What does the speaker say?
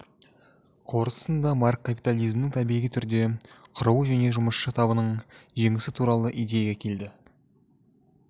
қорытындысында маркс капиталзмнің табиғи түрде құруы және жұмысшы табының жеңісі туралы идеяға келеді